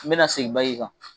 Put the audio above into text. N bɛna segin kan